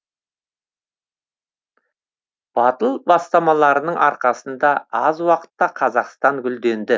батыл бастамаларының арқасында аз уақытта қазақстан гүлденді